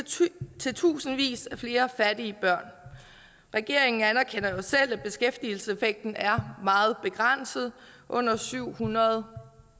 til tusindvis af flere fattige børn og regeringen anerkender jo selv at beskæftigelseseffekten af kontanthjælpsloftet er meget begrænset under syv hundrede